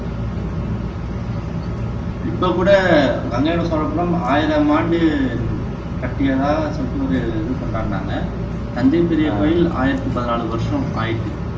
இப்போ கூட கங்கைகொண்ட சோழபுரம் ஆயிரம் ஆண்டு கட்டியதா சொல்லிட்டு ஒரு இது பண்றேன்னாங்க தஞ்சை பெரிய கோயில் ஆயிரத்து பதினாலு வருஷம் ஆயிட்டு